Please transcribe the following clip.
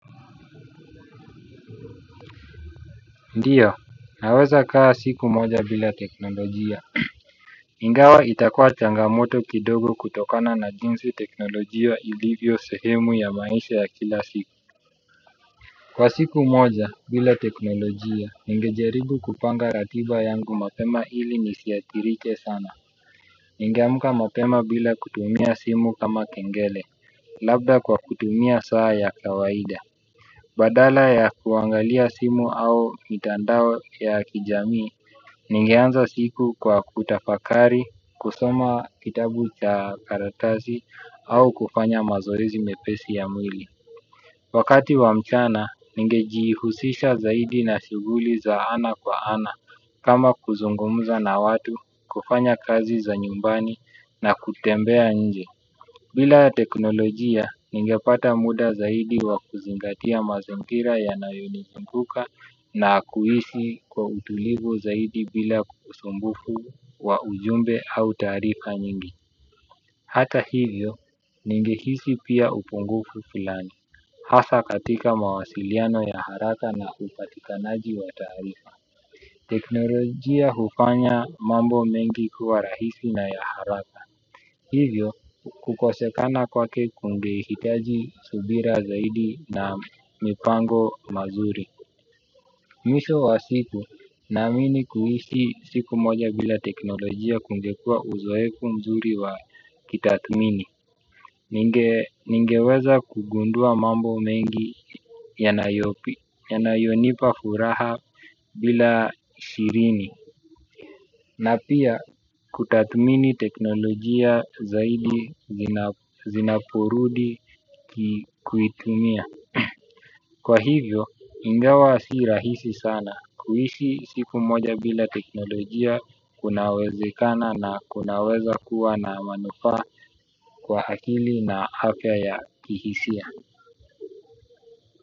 Ndio, naweza kaa siku moja bila teknolojia. Ingawa itakuwa changamoto kidogo kutokana na jinsi teknolojia ilivyo sehemu ya maisha ya kila siku. Kwa siku moja bila teknolojia, ningejaribu kupanga ratiba yangu mapema ili nisiathirike sana. Ningeamka mapema bila kutumia simu kama kengele, labda kwa kutumia saa ya kawaida. Badala ya kuangalia simu au mitandao ya kijamii, ningeanza siku kwa kutafakari, kusoma kitabu cha karatasi au kufanya mazoezi mepesi ya mwili. Wakati wa mchana, ningejiihusisha zaidi na shughuli za ana kwa ana kama kuzungumza na watu, kufanya kazi za nyumbani na kutembea nje. Bila ya teknolojia, ningepata muda zaidi wa kuzingatia mazingira yanayonizunguka na kuisi kwa utulivu zaidi bila usumbufu wa ujumbe au taarifa nyingi. Hata hivyo, ningehisi pia upungufu filani. Hasa katika mawasiliano ya haraka na upatikanaji wa taarifa. Teknolojia hufanya mambo mengi kuwa rahisi na ya haraka. Hivyo, kukosekana kwake kungehitaji subira zaidi na mipango mazuri. Mwisho wa siku, naamini kuishi siku moja bila teknolojia kungekuwa uzoefu mzuri wa kitathmini. Ningeweza kugundua mambo mengi, yanayonipa furaha bila shirini. Na pia kutathmini teknolojia zaidi zinaporudi kuitumia. Kwa hivyo ingawa si rahisi sana kuisi siku moja bila teknolojia kunawezekana na kunaweza kuwa na manufaa kwa akili na afya ya kihisia.